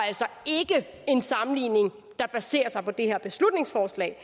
at en sammenligning der baserer sig på det her beslutningsforslag